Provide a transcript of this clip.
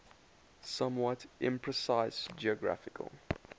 somewhat imprecise geographical